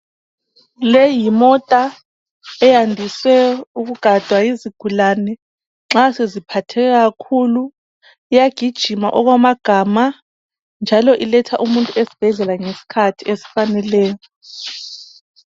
leyi yimota eyandise ukugadwa yizigulane nxa seziphatheke kakhulu iyagijima okwamagama njalo iletha umuntu esibhedlela ngesikhathi esifaneleyo.